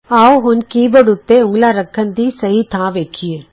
ਆਉ ਹੁਣ keyboard ਉਤੇ ਉਂਗਲਾਂ ਰੱਖਣ ਦੀ ਸਹੀ ਥਾਂ ਵੇਖੀਏ